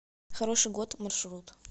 хороший год маршрут